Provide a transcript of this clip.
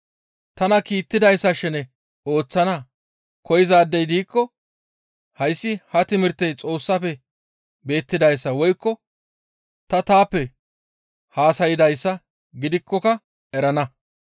Tana kiittidayssa shene ooththana koyzaadey diikko hayssi ha timirtey Xoossafe beettidayssa woykko ta taappe haasaydayssa gidikkoka erana.